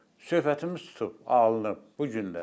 Söhbətimiz tutub, alınıb bu gün də.